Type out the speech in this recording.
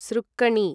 सृक्कणी